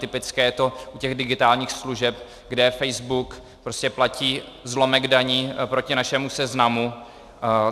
Typické je to u těch digitálních služeb, kde Facebook prostě platí zlomek daní proti našemu Seznamu.